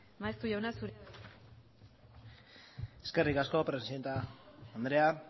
maeztu jauna zurea da hitza eskerrik asko presidente andrea